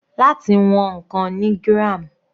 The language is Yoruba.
Láti wọn ǹkan ni gram.